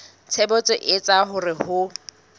tshebetso e etsang hore ho